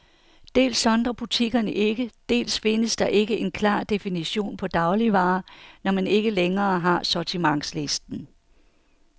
Dels sondrer butikkerne ikke, dels findes der ikke en klar definition på dagligvarer, når man ikke længere har sortimentslisten.